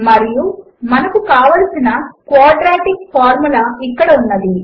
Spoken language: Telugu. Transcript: మరియు మనకు కావలసిన క్వాడ్రాటిక్ ఫార్ములా ఇక్కడ ఉన్నది